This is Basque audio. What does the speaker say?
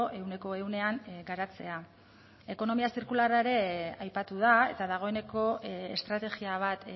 ehuneko ehunean garatzea ekonomia zirkularra ere aipatu da eta dagoeneko estrategia bat